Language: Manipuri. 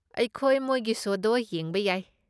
ꯑꯩꯈꯣꯏ ꯃꯣꯏꯒꯤ ꯁꯣꯗꯣ ꯌꯦꯡꯕ ꯌꯥꯏ꯫